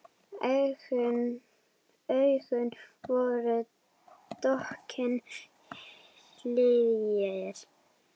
Augun voru dökkir hyljir.